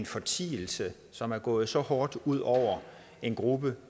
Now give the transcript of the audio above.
fortielse som er gået så hårdt ud over en gruppe